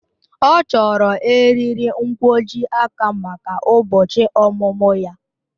Ọ chọrọ eriri nkwojiaka maka ụbọchị ọmụmụ ya